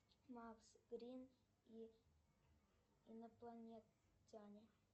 макс грин и инопланетяне